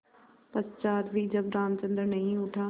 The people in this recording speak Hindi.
पश्चार भी जब रामचंद्र नहीं उठा